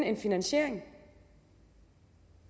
en finansiering